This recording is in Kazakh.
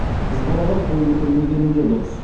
қыз балаға қол көтермегені де дұрыс